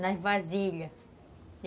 nas vasilhas.